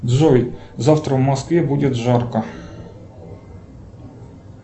джой завтра в москве будет жарко